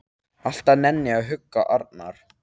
Alltaf nenni ég að hugga Arnar.